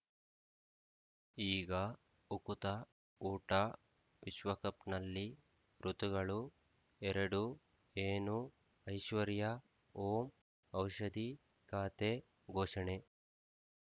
ಈಗಾ ಉಕುತ ಊಟ ವಿಶ್ವಕಪ್‌ನಲ್ಲಿ ಋತುಗಳು ಎರಡು ಏನು ಐಶ್ವರ್ಯಾ ಓಂ ಔಷಧಿ ಖಾತೆ ಘೋಷಣೆ